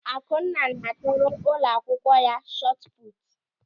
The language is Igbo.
Akunna na-atụrụ ụlọakwụkwọ ya shọtụpụtụ.